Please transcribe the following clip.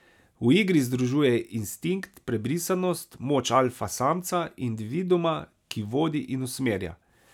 V igri združuje instinkt, prebrisanost, moč alfa samca, individuuma, ki vodi in usmerja.